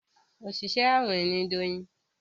Oṣiṣẹ awin ní Doyin